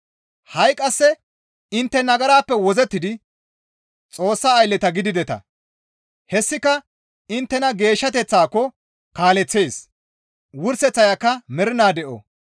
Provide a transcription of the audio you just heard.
Ha7i qasse intte nagarappe wozzettidi Xoossa aylleta gidideta; hessika inttena geeshshateththaako kaaleththees; wurseththayka mernaa de7o.